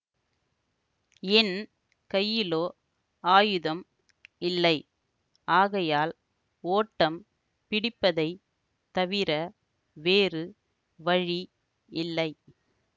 என் கையிலோ ஆயுதம் இல்லை ஆகையால் ஓட்டம் பிடிப்பதைத் தவிர வேறு வழி இல்லை